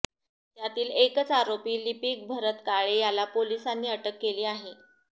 त्यातील एकच आरोपी लिपिक भरत काळे याला पोलिसांनी अटक केली आहे